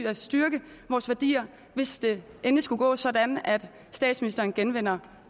og styrke vores værdier hvis det endelig skulle gå sådan at statsministeren genvinder